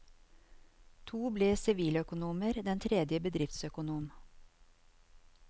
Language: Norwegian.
To ble siviløkonomer, den tredje bedriftsøkonom.